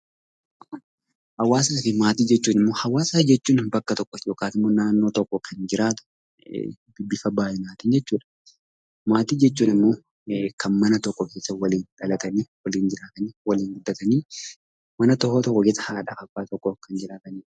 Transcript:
Hawaasaafi maatii jechuun bakka tokko yookaan naannoo tokko kan jiraatu bifa baay'inaatin jechuudha. Maatii jechuun ammoo kan mana tokko keessa waliin dhalatanii waliin jiraataniif waliin guddatan. Mana tokko keessa haadhaaf abbaa tokko kan jiraatanidha.